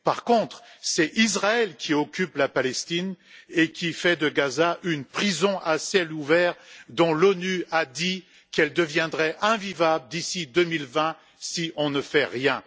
Par contre, c'est Israël qui occupe la Palestine et qui fait de Gaza une prison à ciel ouvert dont l'ONU a dit qu'elle deviendrait invivable d'ici 2020 si on ne fait rien.